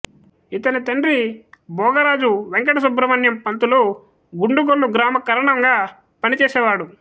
ఇతని తండ్రి భోగరాజు వెంకట సుబ్రహ్మణ్యం పంతులు గుండుగొల్లు గ్రామ కరణంగా పనిచేసేవాడు